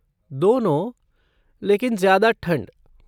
दोनों, लेकिन ज्यादा ठंड।